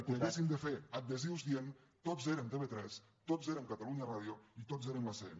que haguéssim de fer adhesius dient tots érem tv3 tots érem catalunya ràdio i tots érem l’acn